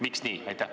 Miks nii?